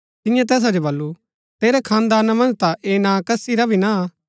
तिन्यै तैसा जो बल्लू तेरै खानदाना मन्ज ता ऐह नां कसी रा भी ना हा